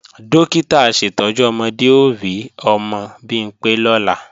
Dókítà aṣètọ́jú ọmọdé ó rí ọmọ Bimpé lọ́la